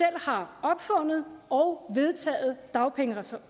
har opfundet og vedtaget dagpengereform